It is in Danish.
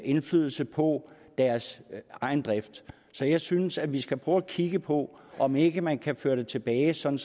indflydelse på deres egen drift så jeg synes at vi skal prøve at kigge på om ikke man kan føre det tilbage sådan